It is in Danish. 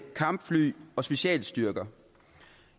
kampfly og specialstyrker